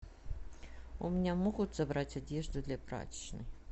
у меня могут забрать одежду для прачечной